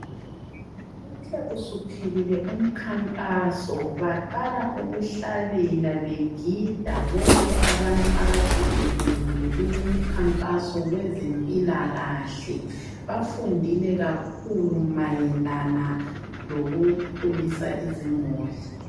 Uthe usuphelile umkhankaso baqala ukuhlabela, begida bonke abantu akade bebuyile kulomkhankaso wezempilakahle. Bafundile kakhulu mayelana lokukhulisa izimuli.